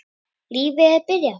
Lífið er byrjað.